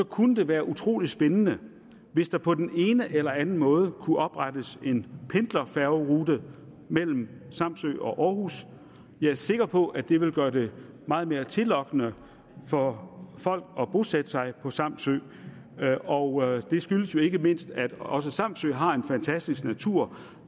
kunne det være utrolig spændende hvis der på den ene eller den anden måde kunne oprettes en pendlerfærgerute mellem samsø og århus jeg er sikker på at det ville gøre det meget mere tillokkende for folk at bosætte sig på samsø og det skyldes jo ikke mindst at også samsø har en fantastisk natur